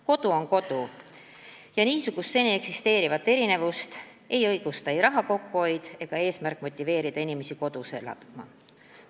Kodu on kodu ja niisugust seni eksisteerivat erinevust ei õigusta ei soov raha kokku hoida ega eesmärk motiveerida inimesi kodus elama.